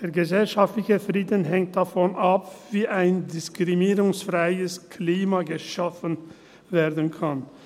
Der gesellschaftliche Frieden hängt davon ab, wie ein diskriminierungsfreies Klima geschaffen werden kann.